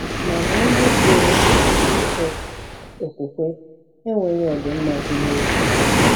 Mana onye jụrụ okwukwe okwukwe enweghị ọdịmma gị n’obi.